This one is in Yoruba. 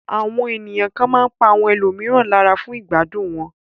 Àwọn ènìyàn kan máa pa ẹlòmíràn lára fún ìgbádùn wọn.